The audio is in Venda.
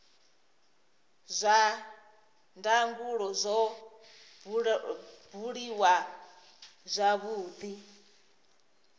zwa ndangulo zwo buliwa zwavhudi